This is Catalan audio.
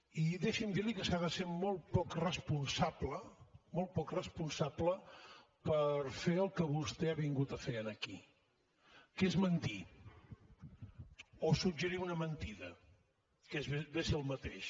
i deixi’m dirli que s’ha de ser molt poc responsable molt poc responsable per fer el que vostè ha vingut a fer aquí que és mentir o suggerir una mentida que ve a ser el mateix